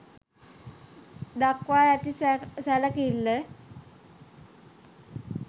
දක්වා ඇති සැලකිල්ල